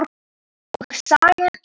Og sagan er